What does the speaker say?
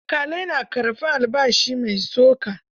Alƙalai na karɓar albashi mai tsoka.